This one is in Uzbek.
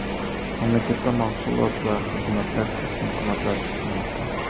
Mamlakatda mahsulot va xizmatlar keskin qimmatlashishi kutilmoqda.